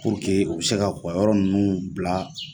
Puruke u bɛ se k'u ka yɔrɔ ninnu bila